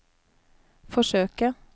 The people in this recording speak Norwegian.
forsøke